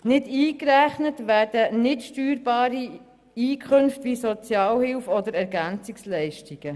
Nicht eingerechnet werden nichtsteuerbare Einkünfte wie Sozialhilfe- oder Ergänzungsleistungen.